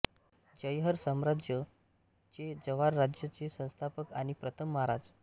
जयहर साम्राज्य चे जव्हार राज्य चे संस्थापक आणि प्रथम महाराज